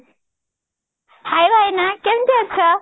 hay ଭାଇନା କେମତି ଅଛ